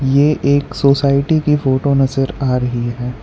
ये एक सोसाइटी की फोटो नज़र आ रही है।